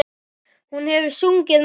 Hún hefur sungið meira.